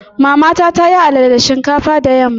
Mamata ta yi alala da shinkafa da yamma.